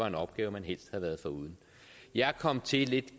en opgave man helst havde været foruden jeg kom til lidt